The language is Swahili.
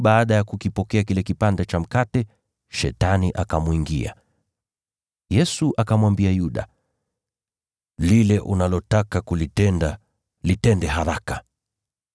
Mara tu baada ya kukipokea kile kipande cha mkate, Shetani akamwingia. Yesu akamwambia Yuda, “Lile unalotaka kulitenda litende haraka.”